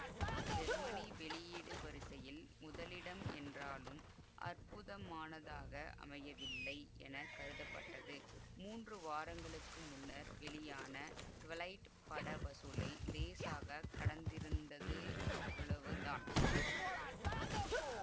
Germany வெளியீடு வரிசையில் முதலிடம் என்றாலும் அற்புதமானதாக அமையவில்லை என கருதப்பட்டது மூன்று வாரங்களுக்கு முன்னர் வெளியான ட்விலைட் பட வசூலை லேசாகக் கடந்திருந்தது அவ்வளவு தான்